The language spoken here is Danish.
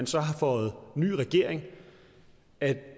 så har fået ny regering at